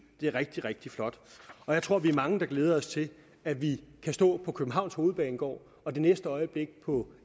det er rigtig rigtig flot og jeg tror vi er mange der glæder os til at vi kan stå på københavns hovedbanegård og det næste øjeblik på